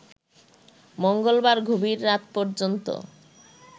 মঙ্গলবার গভীর রাত পর্যন্ত